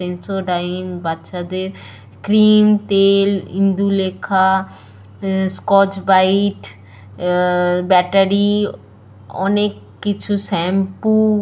ইনসো ডাইন বাচ্চাদের ক্রিম তেল ইন্দুলেখা স্কচ বাইট আ- ব্যাটারী অনেক কিছু শ্যাম্পু --